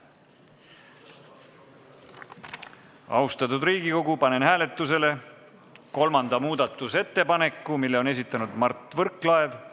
Austatud Riigikogu, panen hääletusele kolmanda muudatusettepaneku, mille on esitanud Mart Võrklaev.